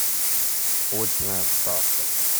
очная ставка